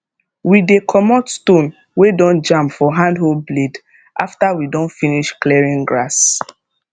we dey comot stone wey don jam for hand hoe blade after we don finish clearing grass